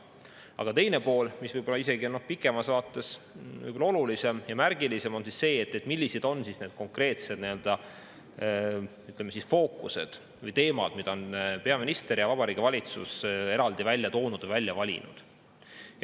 Aga teine pool, mis võib-olla pikemas vaates on isegi olulisem ja märgilisem, on see, millised on need konkreetsed fookused või teemad, mis peaminister ja Vabariigi Valitsus on eraldi välja toonud, välja valinud.